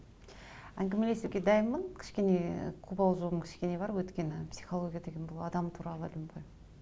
әңгімелесуге дайынмын кішкене қобалжуым кішкене бар өйткені психология деген бұл адам туралы ілім ғой